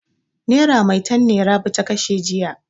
Nera maitan ne Rabi ta kashe jiya.